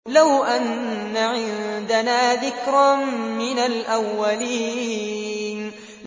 لَوْ أَنَّ عِندَنَا ذِكْرًا مِّنَ الْأَوَّلِينَ